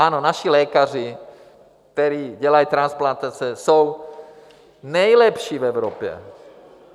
Ano, naši lékaři, kteří dělají transplantace, jsou nejlepší v Evropě.